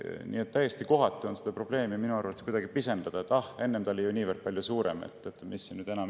Seetõttu on täiesti kohatu seda probleemi kuidagi pisendada, et mis siin nüüd enam nii väga muretseda, enne oli see ju palju suurem.